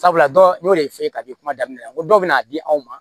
Sabula dɔ y'o de f'i ye k'a bɛ kuma daminɛ n ko dɔw bɛ n'a di aw ma